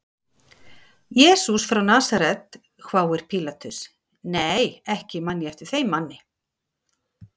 Jesús frá Nasaret, hváir Pílatus, nei ekki man ég eftir þeim manni.